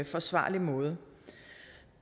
forsvarlig måde